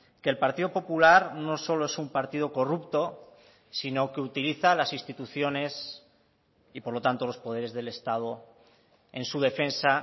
que el partido popular no solo es un partido corrupto sino que utiliza las instituciones y por lo tanto los poderes del estado en su defensa